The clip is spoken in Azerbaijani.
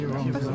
Sizə də.